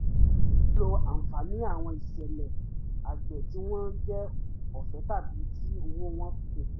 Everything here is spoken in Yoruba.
ó lo àǹfààní àwọn ìṣẹ̀lẹ̀ àgbè tí wọ́n jẹ́ ọ̀fẹ́ tàbí tí owó wọn kò pọ̀